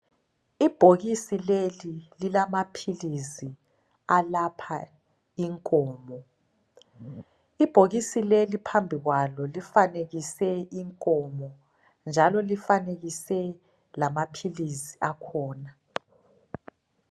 Ibhokisi leli lilamaphilisi alapha inkomo. Ibhokisi leli phambi kwalo lifanekise inkomo njalo lifanekise lamaphilisi akhona.